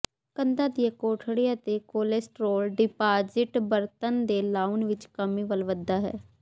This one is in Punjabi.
ਕੰਧਾਂ ਦੀਆਂ ਕੋਠੜੀਆਂ ਤੇ ਕੋਲੇਸਟ੍ਰੋਲ ਡਿਪਾਜ਼ਿਟ ਬਰਤਨ ਦੇ ਲਾਊਂਨ ਵਿੱਚ ਕਮੀ ਵੱਲ ਵਧਦਾ ਹੈ